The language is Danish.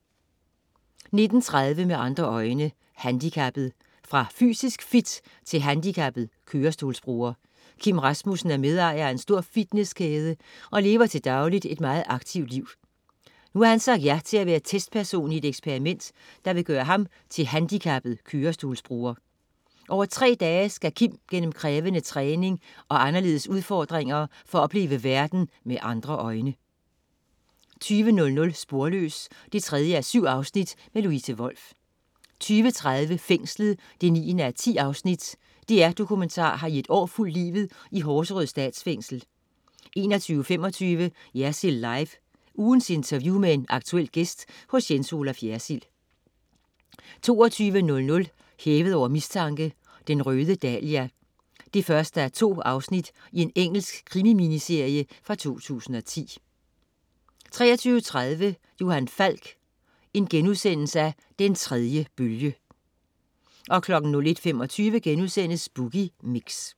19.30 Med andre øjne: Handikappet. Fra fysisk fit til handicappet kørestolsbruger . Kim Rasmussen er medejer af en stor fitnesskæde og lever til dagligt et meget aktivt liv. Nu har han sagt ja til at være testperson i et eksperiment, der vil gøre ham til handicappet kørestolsbruger. Over tre dage skal Kim gennem krævende træning og anderledes udfordringer for at opleve verden med andre øjne 20.00 Sporløs 3:7. Louise Wolff 20.30 Fængslet 9:10. DR Dokumentar har i et år fulgt livet i Horserød Statsfængsel 21.25 Jersild Live. Ugens interview med en aktuel gæst hos Jens Olaf Jersild 22.00 Hævet over mistanke: Den røde dahlia 1:2. Engelsk krimi-miniserie fra 2010 23.30 Johan Falk: Den tredje bølge* 01.25 Boogie Mix*